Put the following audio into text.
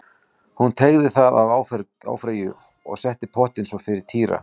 Hún teygaði það af áfergju og setti pottinn svo fyrir Týra.